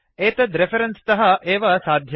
एतद् रेफरेन्स् तः एव साध्यम्